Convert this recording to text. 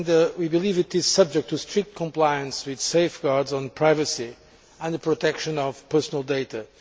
We believe it is subject to strict compliance with safeguards on privacy and the protection of personal data.